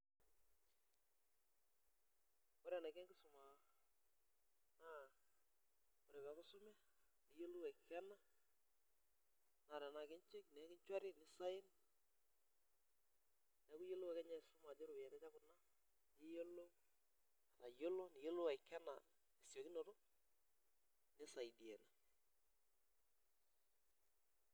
Ore enaiko enkisuma naa ore pee eeku isume niiyiolou aikena naa tenaa ke cheaque nisign neeku iyiolou ake ninye aisuma ajo keropiyiani aja kuna niyiolou aikena tesiokinoto nisaidia ina.